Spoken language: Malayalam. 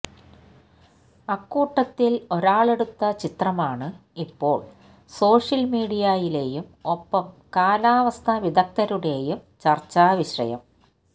അക്കൂട്ടത്തില് ഒരാളെടുത്ത ചിത്രമാണ് ഇപ്പോള് സോഷ്യല്മീഡിയയിലെയും ഒപ്പം കാലാവസ്ഥാ വിദഗ്ധരുടെയും ചര്ച്ചാവിഷയം